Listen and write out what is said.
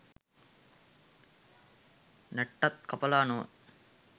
නැට්ටත් කපලා නොව